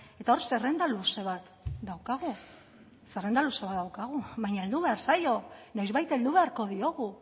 eta hor zerrenda luze bat daukagu zerrenda luze bat daukagu baina heldu behar zaio noizbait heldu beharko diogu